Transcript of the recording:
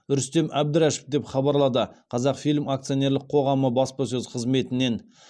рүстем әбдірашев деп хабарлады қазақфильм акционерлік қоғамы баспасөз қызметінен